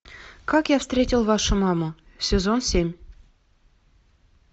как я встретил вашу маму сезон семь